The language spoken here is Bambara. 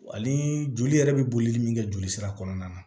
Ani joli yɛrɛ bɛ boli min kɛ jolisira kɔnɔna na